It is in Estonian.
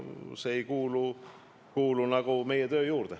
See ei kuulu meie töö juurde.